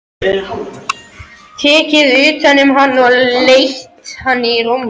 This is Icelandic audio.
Tekið utan um hann og leitt hann í rúmið.